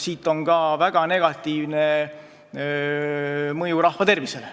Siit tuleneb ka väga negatiivne mõju rahvatervisele.